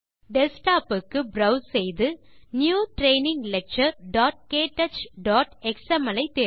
desktop க்கு browse செய்து new training lecturektouchஎக்ஸ்எம்எல்